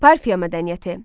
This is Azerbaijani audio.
Parfiya mədəniyyəti.